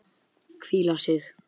Hvíla sig.